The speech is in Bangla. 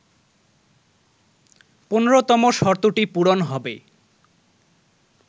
১৫তম শর্তটি পূরণ হবে